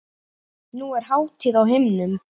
Nú er hátíð á himnum.